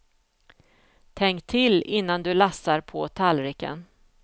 Tänk till innan du lassar på tallriken.